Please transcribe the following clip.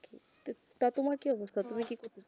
তা তোমার কি অবস্থা তুমি কি করতে চাও